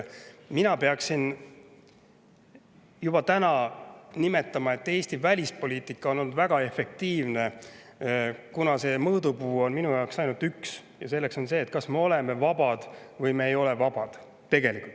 Mina peaksin, et Eesti välispoliitika on juba olnud väga efektiivne, kuna minu jaoks on mõõdupuuks ainult üks ja selleks on see, kas me oleme vabad või me ei ole vabad.